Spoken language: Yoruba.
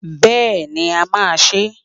Bẹ́ẹ̀ni, a máa ṣe é.